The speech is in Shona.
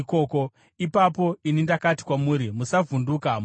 Ipapo ini ndakati kwamuri, “Musavhunduka; musavatya.